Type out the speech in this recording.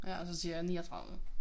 Ja og så siger jeg 39